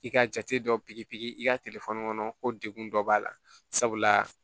I ka jate dɔ bi pikiri i ka telefɔni kɔnɔ ko degun dɔ b'a la sabula